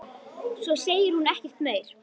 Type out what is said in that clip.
Svo segir hún ekkert meir.